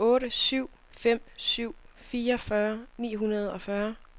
otte syv fem syv fireogfyrre ni hundrede og fyrre